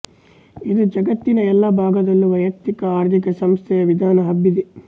ಇಂದು ಜಗತ್ತಿನ ಎಲ್ಲ ಭಾಗದಲ್ಲೂ ವೈಯಕ್ತಿಕ ಆರ್ಥಿಕ ಸಂಸ್ಥೆಯ ವಿಧಾನ ಹಬ್ಬಿದೆ